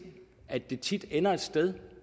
at det tit ender et sted